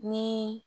Ni